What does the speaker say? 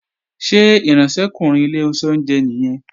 Ṣé ìránṣẹ́kùnrin ilé oúnjẹ nìyẹn?